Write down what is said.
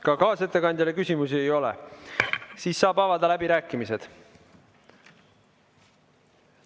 Ka kaasettekandjale küsimusi ei ole, saab avada läbirääkimised.